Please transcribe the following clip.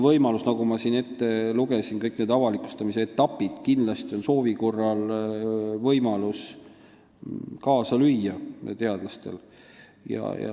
Küll aga – ma siin lugesin ette kõik avalikustamise etapid – on teadlastel soovi korral kindlasti võimalus kaasa lüüa.